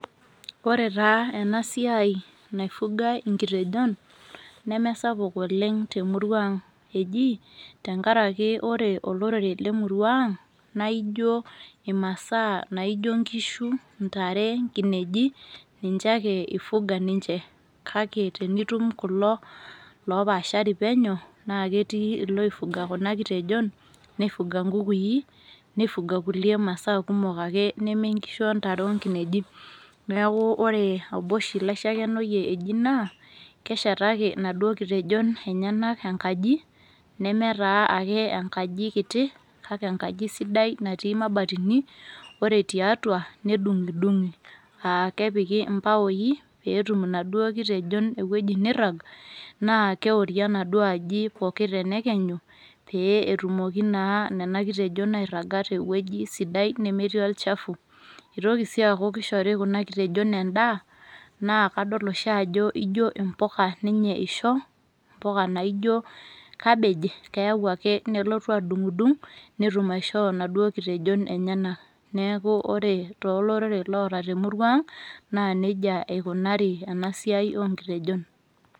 Ore taa enasiai naifugai inkitejon, nemesapuk oleng temurua ang. Ejii, tenkaraki ore olorere lemurua ang, naijo imasaa naijo nkishu, intare, nkineji, ninche ake i fuga ninche. Kake tenitum kulo lopaashari penyo, naa ketii iloi fuga kuna kitejon, ni fuga nkukui, ni fuga kulie masaa kumok ake neme nkishu ontare onkinejik. Neeku ore obo oshi laishakenoyie eji naa, keshetaki naduo kitejon enyanak enkaji, nemetaa ake enkaji kiti, kake enkaji sidai natii mabatini, ore tiatua, nedung'idung'i. Ah kepiki ibaoi, petum inaduo kitejon ewueji nirrag, naa keori enaduo aji pooki tenelenyu, pee etumoki naa nena kitejon airraga tewueji sidai nemetii olchafu. Itoki si aku kishori kuna kitejon endaa, naa kadol oshi ajo ijo impuka ninye isho, impuka naijo cabbage, keeu ake nelotu adung'dung, netum aishoo naduo kitejon enyanak. Neeku ore tolorere loota temurua ang, naa nejia enikunari enasiai onkitejon.